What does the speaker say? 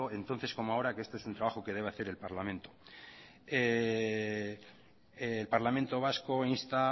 entonces como ahora que esto es un trabajo que debe hacer el parlamento el parlamento vasco insta